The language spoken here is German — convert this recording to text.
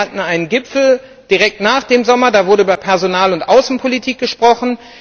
Wir hatten einen Gipfel direkt nach dem Sommer, da wurde über Personal und Außenpolitik gesprochen.